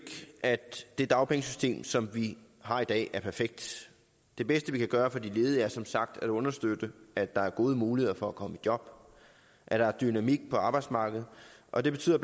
at det dagpengesystem som vi har i dag er perfekt det bedste vi kan gøre for de ledige er som sagt at understøtte at der er gode muligheder for at komme i job at der er dynamik på arbejdsmarkedet og det betyder